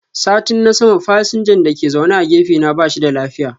Satin na sama fasinjan dake zaune a gefe na bashi da lafiya.